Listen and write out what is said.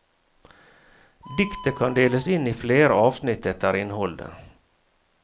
Diktet kan deles inn i flere avsnitt etter innholdet.